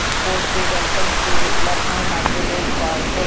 board पे welcome to Lucknow metro rail कॉर्पोरे--